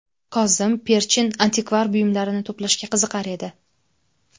Kozim Perchin antikvar buyumlarini to‘plashga qiziqar edi.